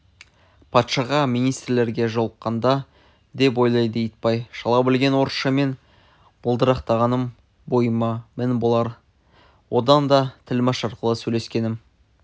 патшаға министрлерге жолыққанда деп ойлады итбай шала білген орысшаммен былдырақтағаным бойыма мін болар одан да тілмәш арқылы сөйлескенім